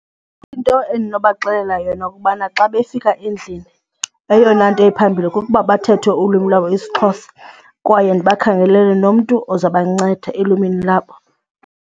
Into endinobaxelela yona kubana xa befika endlini eyona nto iphambili kukuba bathethe ulwimi lwabo isiXhosa kwaye ndibakhangelele nomntu oza banceda elwimini labo.